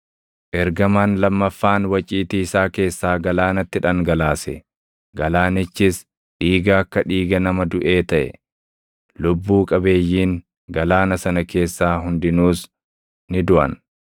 Ergamaan lammaffaan waciitii isaa keessaa galaanatti dhangalaase; galaanichis dhiiga akka dhiiga nama duʼee taʼe; lubbuu qabeeyyiin galaana sana keessaa hundinuus ni duʼan.